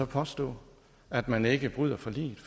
påstå at man ikke bryder forliget